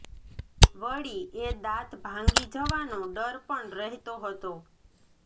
વળી એ દાંત ભાંગી જવાનો ડર પણ રહેતો હતો